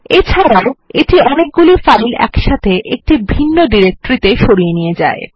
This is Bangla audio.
এছাড়াও এটি অনেকগুলি ফাইল একসাথে একটি ভিন্ন ডিরেক্টরিতে সরিয়ে নিয়ে যায়